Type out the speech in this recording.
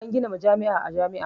An gina majami'a a jami'a